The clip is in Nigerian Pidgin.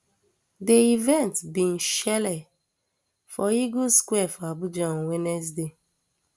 di event bin shele for eagle square for abuja on wednesday